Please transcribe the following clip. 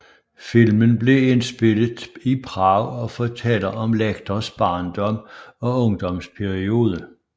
Filmen blev indspillet Prag og fortæller om Lectors barndom og ungdomsperiode